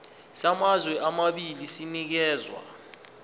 samazwe amabili sinikezwa